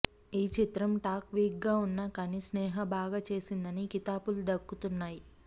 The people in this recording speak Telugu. ఈ చిత్రం టాక్ వీక్గా ఉన్నా కానీ స్నేహ బాగా చేసిందని కితాబులు దక్కుతున్నాయి